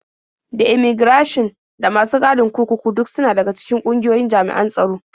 Da immaigirashin da masu gadin kurkuku duk suna daga cikin ƙungiyoyin jami'an tsaro.